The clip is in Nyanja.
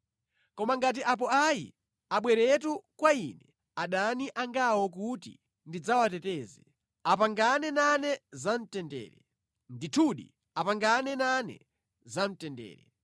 Koma ngati apo ayi, abweretu kwa Ine adani angawo kuti ndidzawateteze; apangane nane za mtendere, ndithu, apangane nane za mtendere.”